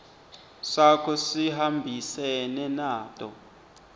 sakho sihambisene nato